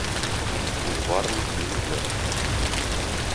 бульварный переплет